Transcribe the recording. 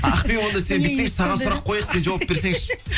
ақбибі онда сен бүйтсеңші саған сұрақ қояйық сен жауап берсеңші